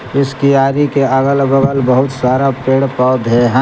इस कियारी के अगल बगल बहुत सारा पेड़ पौधे हैं।